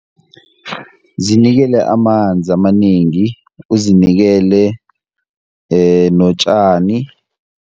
Zinikele amanzi amanengi, uzinikele notjani.